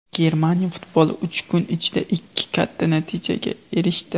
Germaniya futboli uch kun ichida ikki katta natijaga erishdi.